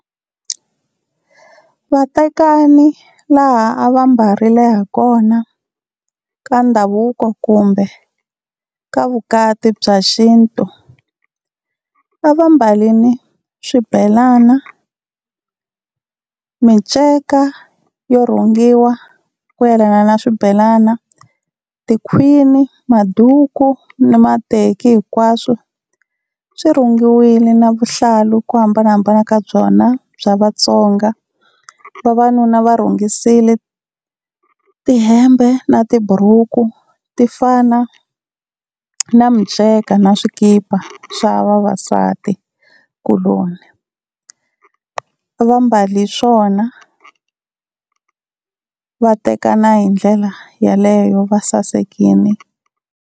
Vatekani laha a va mbarile ha kona ka ndhavuko kumbe ka vukati bya xintu, a va mbalini swibelana, miceka yo rhungiwa ku yelana na swibelana, tikhwini, maduku ni mateki hinkwaswo swi rhungiwile na vuhlalu ku hambanahambana ka byona bya Vatsonga. Vavanuna va rhungisile tihembe na tiburuku ti fana na miceka na swikipa swa vavasatikuloni, a va mbali swona va tekana hi ndlela yaleyo va sasekini.